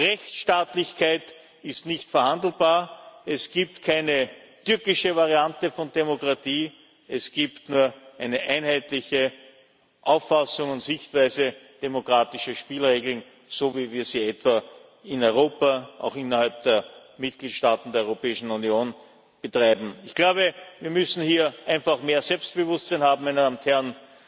Rechtsstaatlichkeit ist nicht verhandelbar, es gibt keine türkische Variante von Demokratie, es gibt nur eine einheitliche Auffassung und Sichtweise demokratischer Spielregeln, so wie wir sie etwa in Europa auch innerhalb der Mitgliedstaaten der Europäischen Union betreiben Ich glaube, wir müssen hier einfach mehr Selbstbewusstsein haben, meine Damen und Herren.